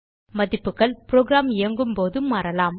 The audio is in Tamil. மதிப்புகள் புரோகிராம் இயங்கும் போது மாறலாம்